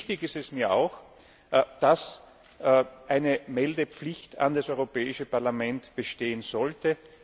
Wichtig ist es mir auch, dass eine Meldepflicht an das Europäische Parlament bestehen sollte.